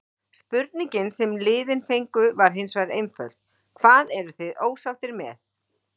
Spurningin sem liðin fengu var hinsvegar einföld: Hvað eruð þið ósáttir með?